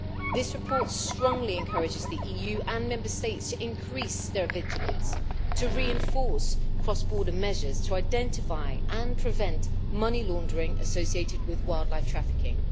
This report strongly encourages the EU and Member States to increase their vigilance, to reinforce cross border measures to identify and prevent money laundering associated with wildlife trafficking.